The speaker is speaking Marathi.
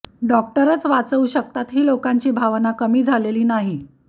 डॉक्टरच वाचवू शकतात ही लोकांची भावना कमी झालेली नाही